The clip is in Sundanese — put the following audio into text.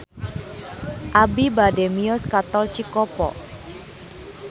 Abi bade mios ka Tol Cikopo